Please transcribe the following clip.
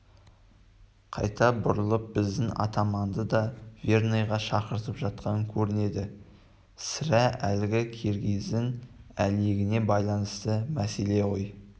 қайта бұрылып біздің атаманды да верныйға шақыртып жатқан көрінеді сірә әлгі киргиздің әлегіне байланысты мәселе ғой